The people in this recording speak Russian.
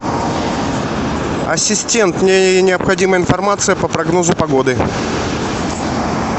ассистент мне необходима информация по прогнозу погоды